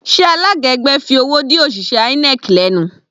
Sé alága ẹgbẹ́ fi owó dí òṣìṣẹ́ INEC lẹ́nu?